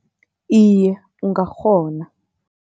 Iye, ungakghona.